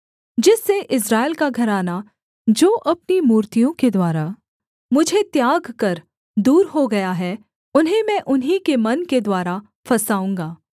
जिससे इस्राएल का घराना जो अपनी मूर्तियाँ के द्वारा मुझे त्याग कर दूर हो गया है उन्हें मैं उन्हीं के मन के द्वारा फँसाऊँगा